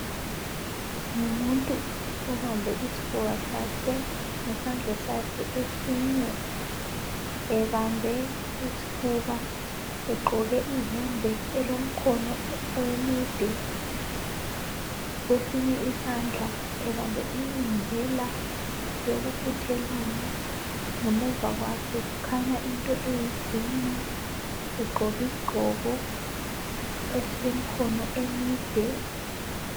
Ngumuntu obambe isifuba sakhe ngesandla sakhe esinye ebambe isifuba egqoke iyembe elomkhono emide, kwesinye isandla ubambe i inhaler yokufuthelana. Ngemuva kwakhe kukhanya into eyi green egqoki sigqoko esile mkhono emide.